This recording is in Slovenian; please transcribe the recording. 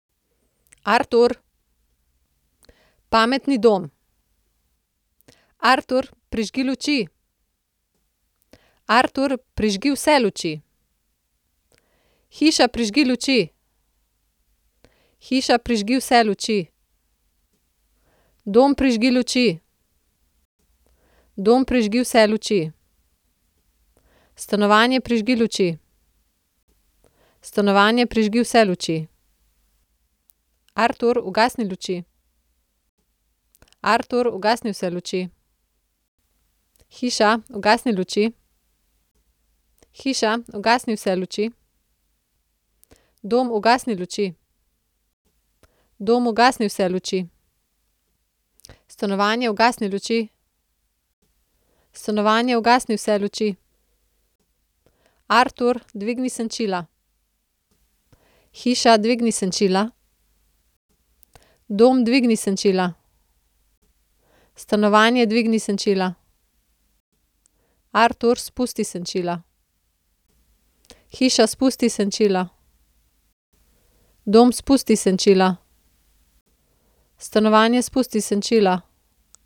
Artur. Pametni dom. Artur, prižgi luči. Artur, prižgi vse luči. Hiša, prižgi luči. Hiša, prižgi vse luči. Dom, prižgi luči. Dom, prižgi vse luči. Stanovanje, prižgi luči. Stanovanje, prižgi vse luči. Artur, ugasni luči. Artur, ugasni vse luči. Hiša, ugasni luči. Hiša, ugasni vse luči. Dom, ugasni luči. Dom, ugasni vse luči. Stanovanje, ugasni luči. Stanovanje, ugasni vse luči. Artur, dvigni senčila. Hiša, dvigni senčila. Dom, dvigni senčila. Stanovanje, dvigni senčila. Artur, spusti senčila. Hiša, spusti senčila. Dom, spusti senčila. Stanovanje, spusti senčila.